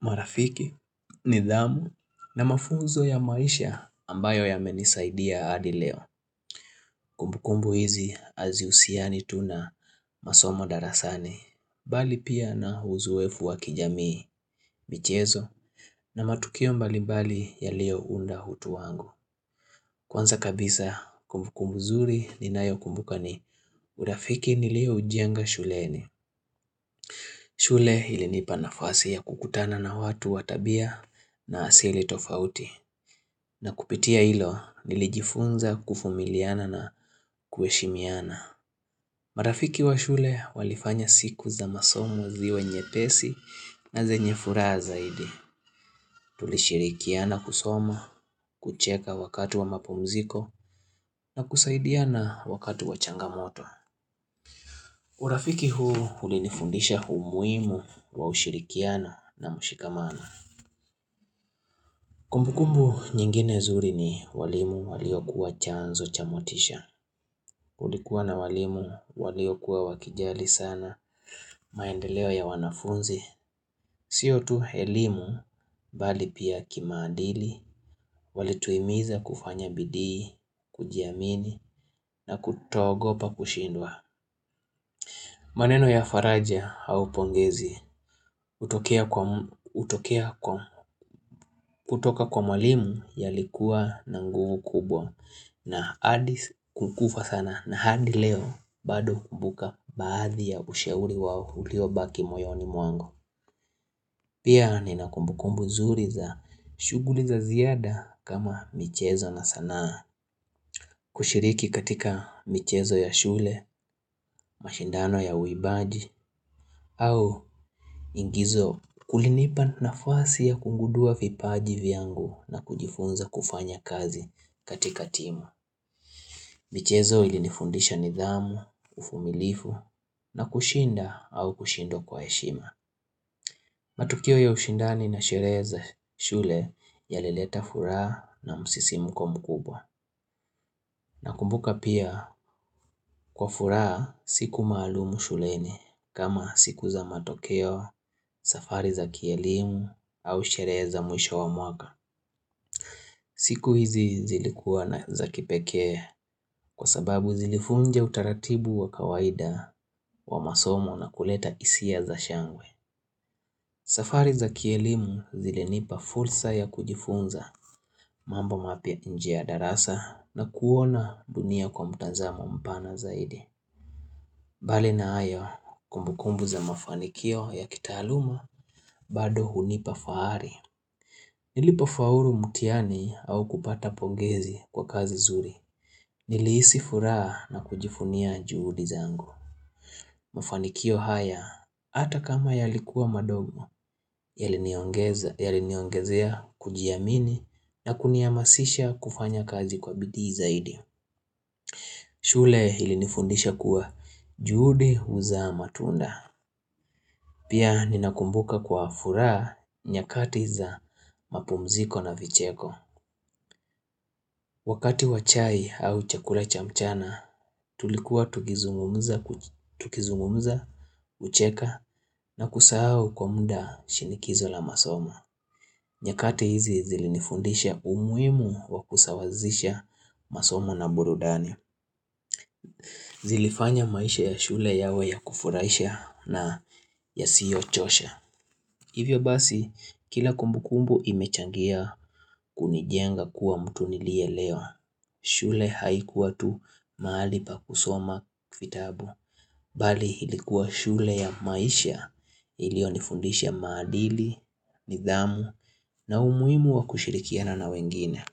marafiki, nidhamu na mafunzo ya maisha ambayo yamenisaidia adi leo. Kumbukumbu hizi azihusiani tu na masomo darasani. Bali pia na huzuwefu wa kijamii michezo na matukio mbalimbali yaliyo unda hutu wangu. Kwanza kabisa kumbuku mzuri ninayo kumbuka ni urafiki nilio ujenga shuleni. Shule ilinipa nafasi ya kukutana na watu wa tabia na asili tofauti. Na kupitia ilo nilijifunza kufumiliana na kuheshimiana. Marafiki wa shule walifanya siku za masomo ziwe nye pesi na zenye furaha zaidi. Tulishirikiana kusoma, kucheka wakati wa mapumziko na kusaidiana wakati wa changamoto. Urafiki huu ulinifundisha humuimu wa ushirikiana na mushikamana. Kumbukumbu nyingine zuri ni walimu waliokuwa chanzo cha motisha. Kulikuwa na walimu walio kuwa wakijali sana maendeleo ya wanafunzi Sio tu helimu bali pia kimaadili Walituimiza kufanya bidii kujiamini na kutoogopa kushindwa maneno ya faraja au pongezi kutoka kwa mwalimu yalikuwa na nguvu kubwa na hadi kukufa sana na hadi leo bado hukumbuka baadhi ya ushauri wao uliobaki moyoni mwangu Pia nina kumbukumbu nzuri za shuguli za ziada kama michezo na sanaa kushiriki katika michezo ya shule, mashindano ya uibaji au ingizo kulinipa nafasi ya kungudua vipaji viangu na kujifunza kufanya kazi katika timu michezo ilinifundisha nidhamu, ufumilifu, na kushinda au kushindwa kwa heshima. Matukio ya ushindani na sherehe za shule yalileta furaha na msisimuko mkubwa. Nakumbuka pia, kwa furaha siku maalumu shuleni, kama siku za matokeo, safari za kielimu, au sherehe za mwisho wa mwaka. Siku hizi zilikuwa za kipekee kwa sababu zilifunja utaratibu wa kawaida wa masomo na kuleta hisia za shangwe safari za kielimu zilinipa fulsa ya kujifunza mambo mapya inje ya darasa na kuona dunia kwa mtazamo mpana zaidi mbali na hayo kumbukumbu za mafanikio ya kitaaluma bado hunipa fahari Nilipo fauru mutiani au kupata pongezi kwa kazi zuri Nilihisi furaha na kujifunia juhudi zangu. Mafanikio haya, ata kama yalikuwa madogo, yaliniongezea kujiamini na kuniamasisha kufanya kazi kwa bidii zaidi. Shule ilinifundisha kuwa juhudi huzaa matunda. Pia ninakumbuka kwa furaha nyakati za mapumziko na vicheko. Wakati wa chai au chakula cha mchana, tulikuwa tukizungumza, ucheka na kusahau kwa muda shinikizo la masoma. Nyakati hizi zilinifundisha umuhimu wa kusawazisha masomo na burudani. Zilifanya maisha ya shule yawe ya kufurahisha na yasiyo chosha. Hivyo basi, kila kumbukumbu imechangia kunijenga kuwa mtu nilie elewa. Shule haikuwa tu mahali pa kusoma vitabu Bali ilikuwa shule ya maisha ilionifundisha maadili, nidhamu na umuhimu wa kushirikiana na wengine.